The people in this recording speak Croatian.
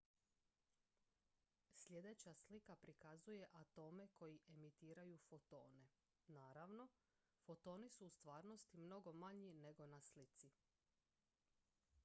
sljedeća slika prikazuje atome koji emitiraju fotone naravno fotoni su u stvarnosti mnogo manji nego na slici